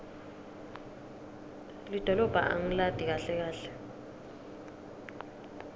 lidolobha angilati kahle kahle